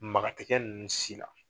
Maga tɛ kɛ ninnu si la